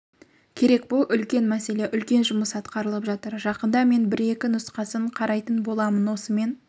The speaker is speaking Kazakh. керек бұл үлкен мәселе үлкен жұмыс атқарылып жатыр жақында мен бір-екі нұсқасын қарайтын боламын осымен